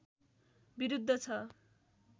विरुद्ध छ